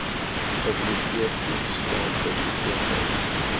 biblioteekdiens staan biblioteke